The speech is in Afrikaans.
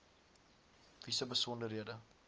wie se besonderhede